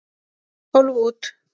Tólf út.